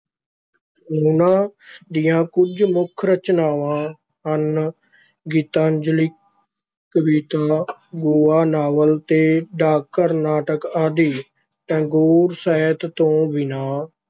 ਉਹਨਾਂ ਦੀਆਂ ਕੁਝ ਮੁੱਖ ਰਚਨਾਵਾਂ ਹਨ, ਗੀਤਾਂਜਲੀ ਕਵਿਤਾ, ਗੋਹਾ ਨਾਵਲ ਤੇ ਡਾਕਘਰ ਨਾਟਕ ਆਦਿ, ਟੈਗੋਰ ਸਾਹਿਤ ਤੋਂ ਬਿਨਾਂ